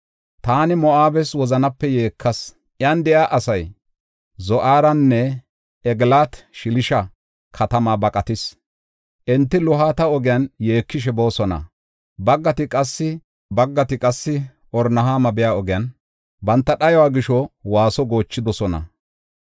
Taani Moo7abes wozanape yeekas; iyan de7iya asay Zo7aarenne Egilaat-Shelisha katamaa baqatis. Enti Luhita ogiyan yeekishe boosona; baggati qassi Horonayma biya ogiyan, banta dhayuwa gisho waaso goochidosona.